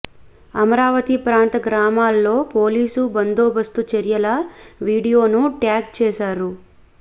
అమరావతి ప్రాంత గ్రామాల్లో పోలీసు బందోబస్తు చర్యల వీడియోను ట్యాగ్ చేశారు